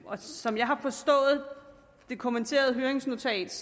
som jeg har forstået det kommenterede høringsnotat